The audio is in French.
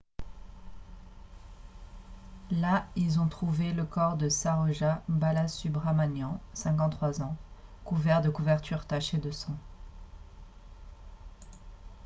là ils ont trouvé le corps de saroja balasubramanian 53 ans couvert de couvertures tachées de sang